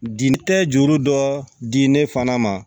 Di tɛ juru dɔ di ne fana ma